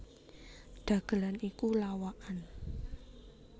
Dhagelan iku lawakan